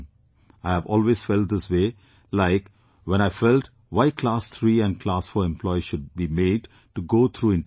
I have always felt this way, like when I felt why Class 3 and Class 4 employees should be made to go through interviews